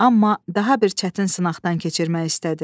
Amma daha bir çətin sınaqdan keçirmək istədi.